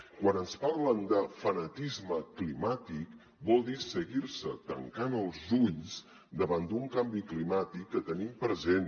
quan ens parlen de fanatisme climàtic vol dir seguir se tancant els ulls davant d’un canvi climàtic que tenim present